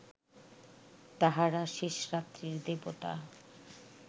তাঁহারা শেষরাত্রির দেবতা